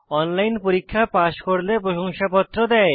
online পরীক্ষা pass করলে প্রশংসাপত্র দেয়